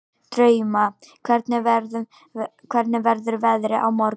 Drauma, hvernig verður veðrið á morgun?